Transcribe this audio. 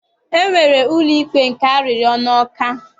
E nwere ụlọikpe nke arịrịọ n'Ọka.